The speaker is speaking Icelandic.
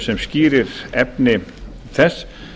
sem skýrir efni þess